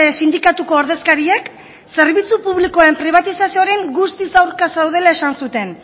sindikatuko ordezkariek zerbitzu publikoen pribatizazioaren guztiz aurka zeudela esan zuten